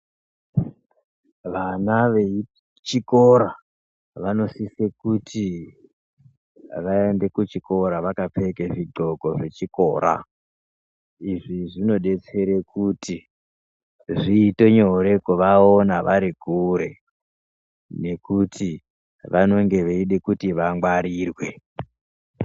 Vana vechikora vanosise kuti vaende kuchikora vakapfeke zvithlobo zvechikora izvi zvinodetsere kuti zviite nyore kuvaona vari kure nekuti vanenge veide kuti vangwarirwe.